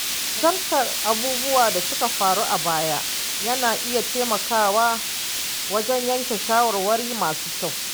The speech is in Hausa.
Nazartar abubuwan da suka faru a baya yana iya taimakawa wajen yanke shawarwari masu kyau.